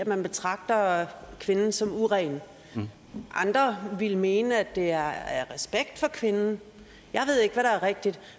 man betragter kvinden som uren andre ville mene at det er af respekt for kvinden jeg ved ikke hvad der er rigtigt